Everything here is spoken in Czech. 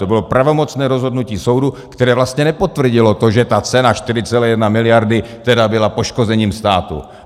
To bylo pravomocné rozhodnutí soudu, které vlastně nepotvrdilo to, že cena 4,1 miliardy tedy byla poškozením státu.